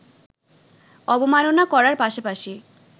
অবমাননা করার পাশাপাশি